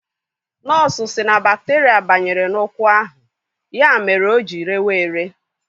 Nọọsụ sị na bakterịa banyere n'ụkwụ ahụ, ya mere o ji rewa ere.